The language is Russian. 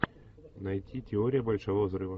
найти теория большого взрыва